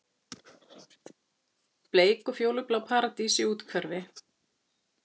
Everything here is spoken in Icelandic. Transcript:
Bleik og fjólublá paradís í úthverfi